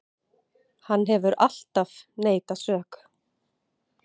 Hann hefur alltaf neitað sök